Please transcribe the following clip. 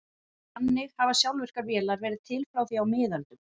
Þannig hafa sjálfvirkar vélar verið til frá því á miðöldum.